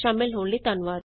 ਸ਼ਾਮਲ ਹੋਣ ਲਈ ਧੰਨਵਾਦ